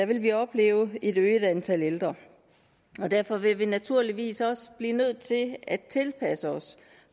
vil vi opleve et øget antal ældre derfor vil vi naturligvis også blive nødt til at tilpasse os